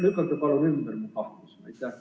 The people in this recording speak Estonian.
Lükake palun mu kahtlused ümber!